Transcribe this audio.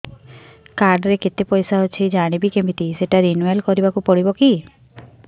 card ରେ କେତେ ପଇସା ଅଛି ଜାଣିବି କିମିତି ସେଟା ରିନୁଆଲ କରିବାକୁ ପଡ଼ିବ କି